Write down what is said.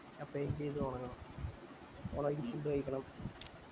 അപ്പൊ എന്ത് ചെയ്ത് തൊടങ്ങണം പോണ വയിക്ക് food കൈക്കണം